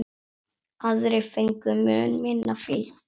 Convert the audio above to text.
Aðrir fengu mun minna fylgi.